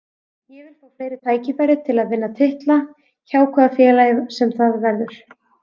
Ég vil fá fleiri tækifæri til að vinna titla, hjá hvaða félagi sem það verður.